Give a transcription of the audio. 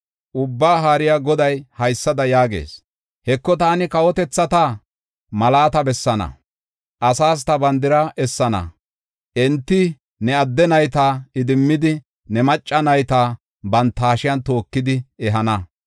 Ubbaa Haariya Goday haysada yaagees: “Heko, taani kawotethata mallata bessaana; asaas ta bandira essana. Enti ne adde nayta idimmidi, ne macca nayta banta hashiyan tookidi ehana.